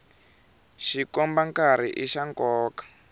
xikomba nkarhi i xa nkoka